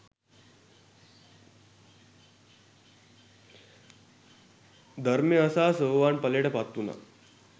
ධර්මය අසා සෝවාන් ඵලයට පත්වුණා